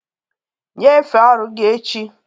Nyefee ọrụ gị echi!